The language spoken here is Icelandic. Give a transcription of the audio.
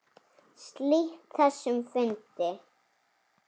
Slít þessum fundi.